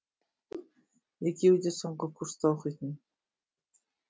екеуі де соңғы курста оқитын